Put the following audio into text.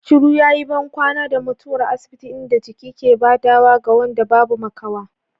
Shiru yayi bankwana da mutuwar asibiti, inda jiki ke badawa ga wanda babu makawa.